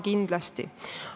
Kindlasti anname.